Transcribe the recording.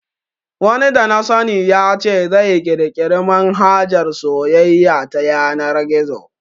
Wani dana sani ya ce zai kirkiri manhajar soyayya ta yanar gizo